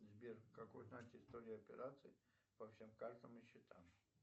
сбер как узнать историю операций по всем картам и счетам